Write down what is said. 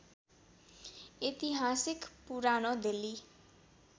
ऐतिहासिक पुरानो दिल्ली